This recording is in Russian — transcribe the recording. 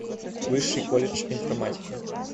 высший колледж информатики